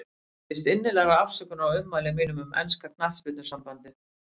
Ég biðst innilegrar afsökunar á ummælum mínum um enska knattspyrnusambandið.